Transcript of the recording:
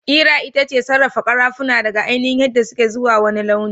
Ƙera itace sarrafa karafuna daga ainihin yadda suke izuwa wani launin.